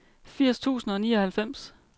firs tusind og nioghalvfems